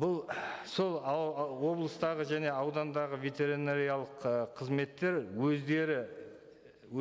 бұл сол облыстағы және аудандағы ветеринариялық ы қызметтер өздері